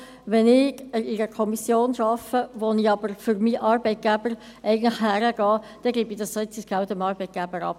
Wenn ich in einer Kommission mitarbeite, wo ich eigentlich für meinen Arbeitgeber hingehe, gebe ich das Sitzungsgeld dem Arbeitgeber ab.